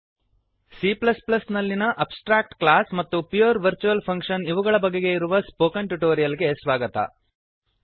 C ನಲ್ಲಿಯ abstract class abstract class ಮತ್ತು pure virtual function pure virtual function ಇವುಗಳ ಬಗೆಗೆ ಇರುವ ಸ್ಪೋಕನ್ ಟ್ಯುಟೋರಿಯಲ್ ಗೆ ಸ್ವಾಗತ